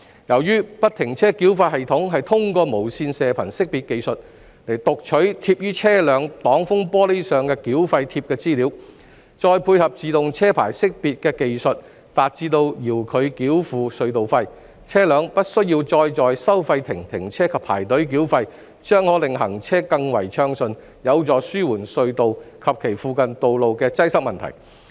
由於不停車繳費系統是通過無線射頻識別技術讀取貼於車輛擋風玻璃上的繳費貼資料，再配合自動車牌識別技術，達致遙距繳付隧道費，車輛不需要再在收費亭停車及排隊繳費，將可令行車更為暢順，有助紓緩隧道及其附近道路的擠塞問題。